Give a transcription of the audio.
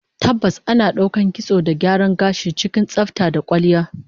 Tabbas, ana daukar kitson da gyaran gashi cikin tsafta da kwalliya